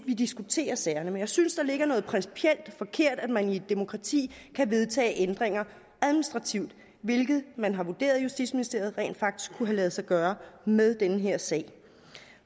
vi diskuterer sagerne men jeg synes der ligger noget principielt forkert i at man i et demokrati kan vedtage ændringer administrativt hvilket man har vurderet i justitsministeriet rent faktisk kunne have ladet sig gøre med den her sag